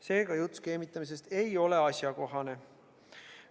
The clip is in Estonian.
Seega, jutt skeemitamisest ei ole asjakohane.